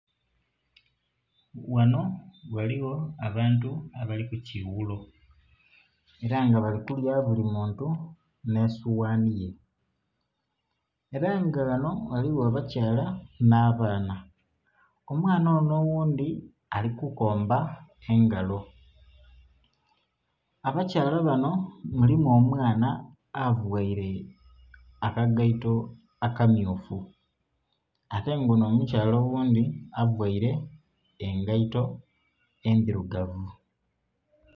Ghanho ghaligho abantu abali ku kighuulo era nga bali kulya buli muntu nhe soghani ye era nga ghanho ghaligho abakyala nha baana, omwaana onho oghundhi ali ku komba engalo. Abakyala banho mulimu omwaana avaire akagaito akamyufu ate nga onho omukyala oghundhi avaire engaito endhirugavu.